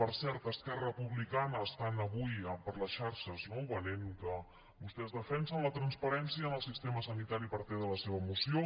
per cert esquerra republicana avui venen per les xarxes no que vostès defensen la transparència en el sistema sanitari a partir de la seva moció